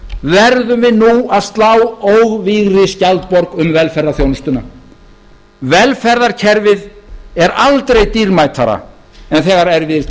verðum við nú að slá óvígri skjaldborg um velferðarþjónustuna velferðarkerfið er aldrei dýrmætara en þegar erfiðir